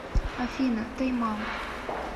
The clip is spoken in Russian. афина тайм аут